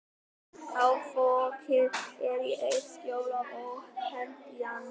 Þá fokið er í eitt skjól er ófennt í annað.